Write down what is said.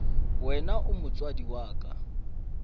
wena o motswadi wa ka